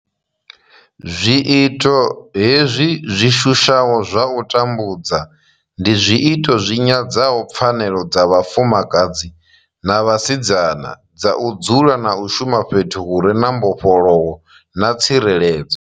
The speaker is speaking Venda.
Zwiito hezwi zwi shushaho zwa u tambudza ndi zwiito zwi nyadzaho pfanelo dza vhafumakadzi na vhasidzana dza u dzula na u shuma fhethu hu re na mbofholowo na tsireledzo.